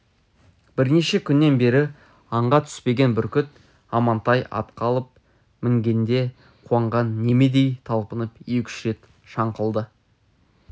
бірнеше күннен бері аңға түспеген бүркіт амантай атқа алып мінгенде қуанған немедей талпынып екі-үш рет шаңқылдады